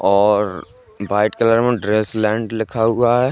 और white colour में dress land लिखा हुआ है।